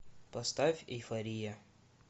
поставь эйфория